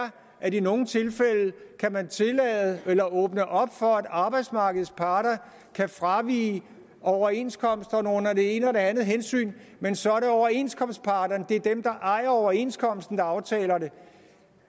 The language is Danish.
at man i nogle tilfælde kan tillade eller åbne op for at arbejdsmarkedets parter kan fravige overenskomsterne under det ene og det andet hensyn men så overenskomstparterne der ejer overenskomsten der aftaler det